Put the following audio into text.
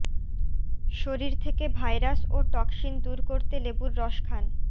শরীর থেকে ভাইরাস ও টক্সিন দূর করতে লেবুর রস খান